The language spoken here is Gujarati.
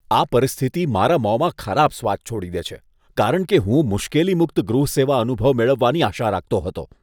આ પરિસ્થિતિ મારા મોંમાં ખરાબ સ્વાદ છોડી દે છે, કારણ કે હું મુશ્કેલી મુક્ત ગૃહ સેવા અનુભવ મેળવવાની આશા રાખતો હતો.